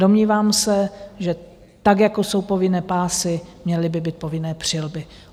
Domnívám se, že tak jako jsou povinné pásy, měly by být povinné přilby.